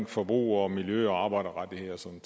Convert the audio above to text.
forbrug miljø arbejderrettigheder og sådan